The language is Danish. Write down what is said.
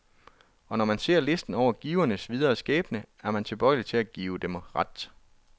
Og når man ser listen over givernes videre skæbne, er man tilbøjelig til at give dem ret.